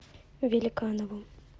великанову